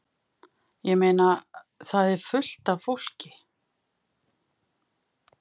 Ég meina. það er fullt af fólki.